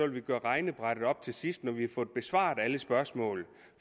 vil gøre regnebrættet op til sidst når vi har fået besvaret alle spørgsmål